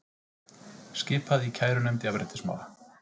Skipað í kærunefnd jafnréttismála